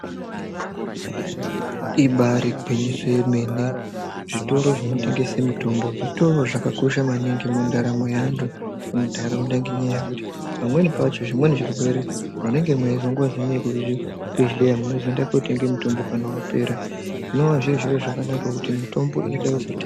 Ibari gwinyiso remene zvitoro zvinotengesa mitombo zvitoro zvakakosha maningi mundaramo yevantu mundaraunda ngekuti pamweni pacho zvimweni zvirwere munozodzi nevekuzvubhedlera unondoenda kotenga mitombo kana yapera zvinova zviro zvakanaka ngekuti mitombo inoda kutenga.